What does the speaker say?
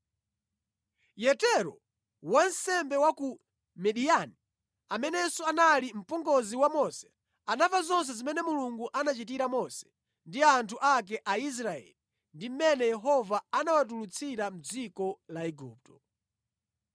Yetero wansembe wa ku Midiyani amenenso anali mpongozi wa Mose, anamva zonse zimene Mulungu anachitira Mose ndi anthu ake a Aisraeli ndi mmene Yehova anawatulutsira mʼdziko la Igupto.